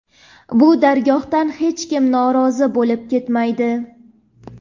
Bu dargohdan hech kim norozi bo‘lib ketmaydi.